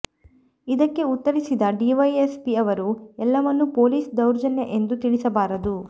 ಇದಕ್ಕೆ ಉತ್ತರಿಸಿದ ಡಿವೈಎಸ್ಪಿ ಅವರು ಎಲ್ಲವನ್ನು ಪೊಲೀಸ್ ದೌರ್ಜನ್ಯ ಎಂದು ತಿಳಿಸಬಾರದು